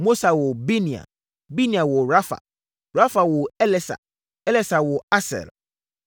Mosa woo Binea. Binea woo Rafha. Rafha woo Elasa. Elasa woo Asel.